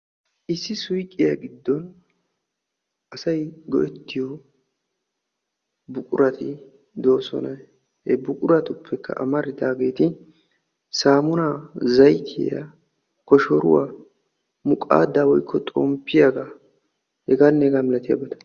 issi suyqqiya giddon asay go''ettiyo buqurati de'oosona. he buquratuppekka amaridaageeti saamuna, zayttiyaa, koshshoruwaa, muqaada woykko xonmppiyaaga heganne hegaa malaatiyaa...